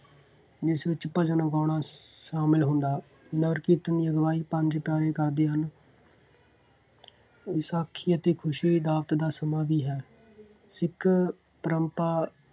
ਜਿਸ ਵਿੱਚ ਭਜਨ ਗਾਉਣਾ ਸ਼ਾਮਿਲ ਹੁੰਦਾ। ਨਗਰ ਕੀਰਤਨ ਦੀ ਅਗਵਾਈ ਪੰਜ ਪਿਆਰੇ ਕਰਦੇ ਹਨ। ਵਿਸਾਖੀ ਅਤੇ ਖੁਸ਼ੀ ਦਾ ਦੀ ਹੈ। ਸਿੱਖ ਪਰੰਪਰਾ